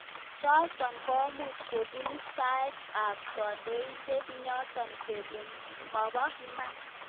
chotok komuch kobun istaet ab kandoindet ngenyor kele mabo iman.